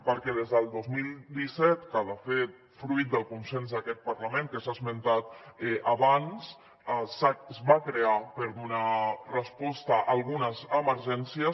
perquè des del dos mil disset que de fet fruit del consens d’aquest parlament que s’ha esmentat abans es va crear per donar resposta a algunes emergències